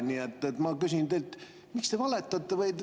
Nii et ma küsin teilt, miks te valetate.